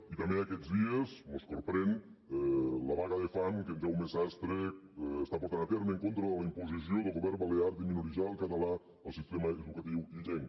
i també aquests dies mos corprèn la vaga de fam que en jaume sastre està portant a terme en contra de la imposició del govern balear de minoritzar el català al sistema educatiu illenc